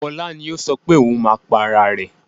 Fọlá ni ó sọ pé ohun máa pa ara rẹ̀.